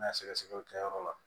N'a sɛgɛsɛgɛw kɛyɔrɔ la